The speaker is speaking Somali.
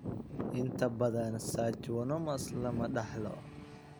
Inta badan schwannomas lama dhaxlo.